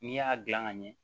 N'i y'a dilan ka ɲɛ